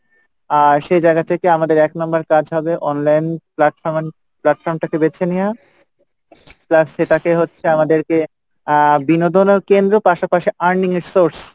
আর সে জায়গা থেকে আমাদের এক number কাজ হবে online platform platform টাকে বেছে নিওয়া plus সেটাকে হচ্ছে আমাদেরকে আহ বিনোদনও কেন্দ্র পাশাপাশি earning এর source,